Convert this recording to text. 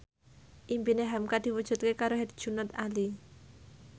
impine hamka diwujudke karo Herjunot Ali